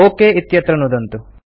okay इत्यत्र नुदन्तु